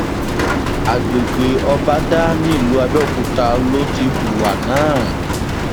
àgbègbè ọbadà nílùú àbẹòkúta ló ti hùwà náà